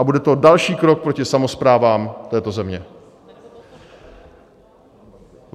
A bude to další krok proti samosprávám této země.